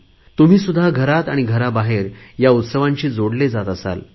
तुम्ही सुद्धा घरात आणि घराबाहेर या उत्सवांशी जोडले जात असाल